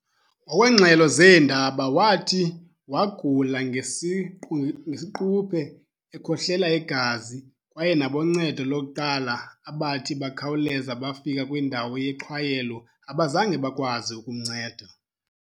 Ngokwengxelo zeendaba, wathi wagula ngesiquphe, ekhohlela igazi, kwaye naboncedo lokuqala abathi bakhawuleza bafika kwindawo yexhwayelo abazange bakwazi ukumnceda.